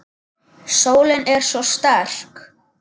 Sólin er svo sterk.